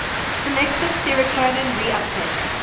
selective serotonin reuptake